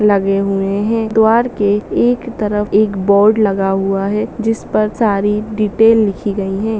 एक तरफ एक बोर्ड लगा हुआ है जिसपर सारी डिटेल लिखी गयी लगे हुए हैं।